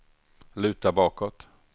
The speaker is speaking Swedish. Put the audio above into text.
luta bakåt